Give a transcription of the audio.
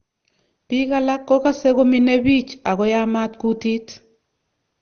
Biik alak kokase kominee biich akoyamat kutit